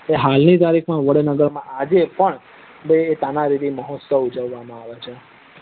એ હાલ ની તારીખ માં વડનગર માં આજે પણ તાના રીરી મહોત્સવ ઉજવામાં આવે છે